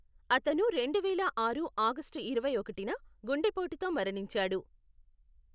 అతను రెండువేల ఆరు ఆగస్టు ఇరవై ఒకటిన గుండెపోటుతో మరణించాడు.